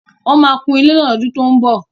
Wọ́n máa kùn ilé náà lọ́dún tó ń bọ̀.